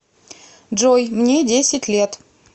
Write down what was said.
джой мне десять лет